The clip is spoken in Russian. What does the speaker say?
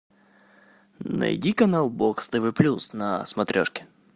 найди канал бокс тв плюс на смотрешке